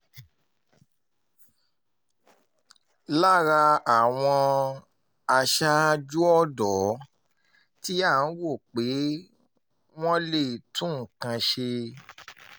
lára àwọn aṣáájú ọ̀dọ́ tí à ń rò pé wọ́n lè tún nǹkan ṣe